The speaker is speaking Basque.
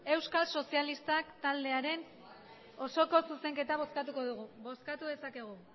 euskal sozialistak taldearen osoko zuzenketa bozkatuko dugu bozkatu dezakegu